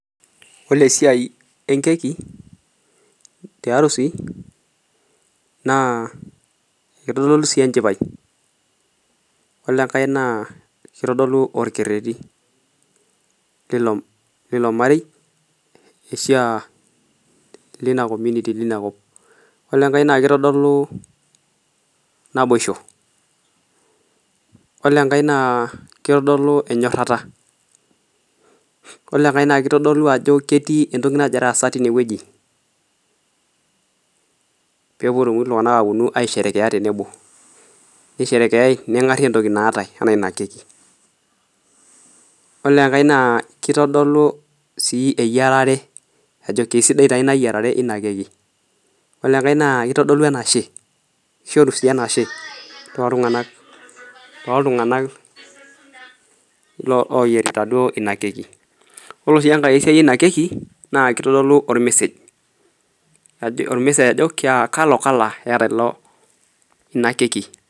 ore esiai enkeki tiarusi naa kitodolu sii enchipai ore enkae naa kitodolu orkereti Lilo marei ashu lina comuniti lina kop ,yiolo enkae naa kitodolu naboisho ,yiolo enkae naa kitodolu enyorata ,yiolo enkae naa kitodolu ajo kainyoo nagira aasa tineweji pee eponu iltunganak aisherekea tenebo, neisherekeai nengari entoki naatae enaa ina keki. ore enkae naa kitodolu eyiarare ajo keisidai taa ina yierare ina keki, ore enkae naa kishoru sii enashe toltunganak oyierita duo ina keki ,ore sii enkae siai ina keki naa kitodolu ormesej ajo kalo kala eeta ina keki.